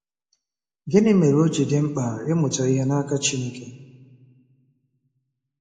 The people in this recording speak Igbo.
Gịnị mere o ji dị mkpa ịmụta ihe n’aka Chineke?